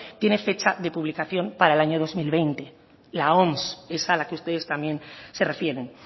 tiene fecha de publicación para el año dos mil veinte la oms esa a la que ustedes también se refieren